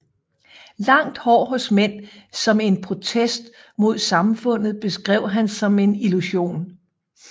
Langt hår hos mænd som en protest mod samfundet beskrev han som en illusion